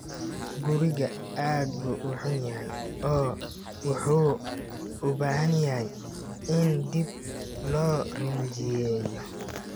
Guriga aad buu u xun yahay oo wuxuu u baahan yahay in dib loo rinjiyeeyo.